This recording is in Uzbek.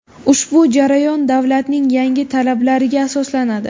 Ushbu jarayon davlatning yangi talablariga asoslanadi.